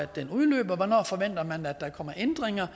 den udløb hvornår der kom ændringer